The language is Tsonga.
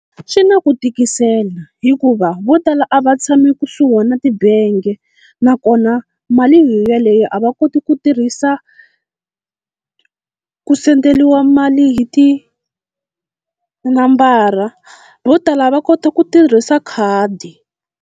Swi na ku tikisela hikuva vo tala a va tshami kusuhi na tibenge, nakona mali yoyaleyo a va koti ku tirhisa ku senderiwa mali hi tinambara vo tala va kota ku tirhisa khadi.